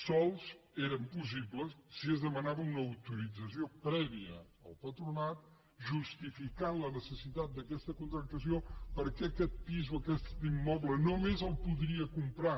sols eren possibles si es demanava una au·torització prèvia al patronat i es justificava la necessi·tat d’aquesta contractació perquè aquest pis o aquest immoble només el podia comprar